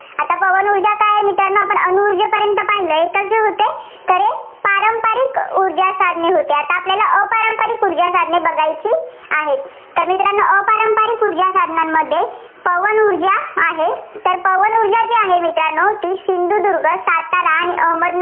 ऊर्जासाधने होती. आता आपल्याला अपारंपरिक ऊर्जासाधने बघायची आहेत. तर मित्रांनो अपारंपरिक ऊर्जासाधनांमध्ये पवन ऊर्जा आहे. तर पवन ऊर्जाजी आहे, ती सिंधुदुर्ग, सातारा, अहमदनगर